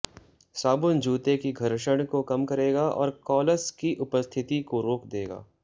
साबुन जूते की घर्षण को कम करेगा और कॉलस की उपस्थिति को रोक देगा